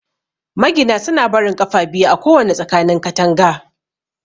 Magina suna barin 'ƙafa' biyu a kowana tsakanin katanga.